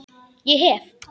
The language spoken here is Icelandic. Ég hef.